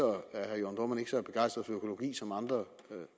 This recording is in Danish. er herre jørn dohrmann ikke så begejstret for økologi som andre